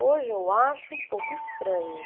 Hoje eu acho um pouco estranho.